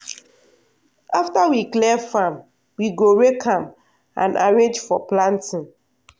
after we clear farm we go rake am and arrange for planting.